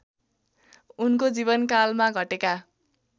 उनको जीवनकालमा घटेका